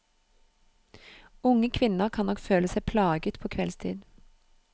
Unge kvinner kan nok føle seg plaget på kveldstid.